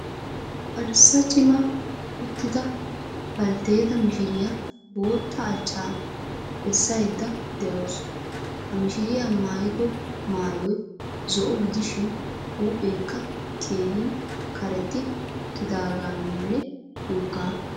Arssa cima uttida balteeta mishiriya bootta achchaa bessaydda de'awuus. Ha mishiriya maayido maayoy zo"o gidishin huupheekka keehin karexxi uttidaagaanne woggaa.